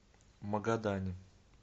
магадане